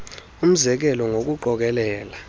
umze kelo ngokuqokelela